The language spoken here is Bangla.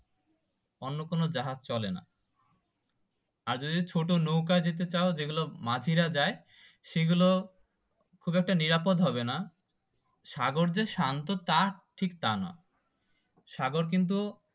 অন্য কোনো জাহাজ চলেনা আর যদি ছোট নৌকো যেতে চাও যেগুলো মাঝিরা যায় সেগুলো খুব একটা নিরাপদ হবেনা সাগর যে শান্ত ঠিক টা নয় সাগর কিন্তু